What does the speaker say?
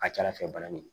A ka ca ala fɛ bana nin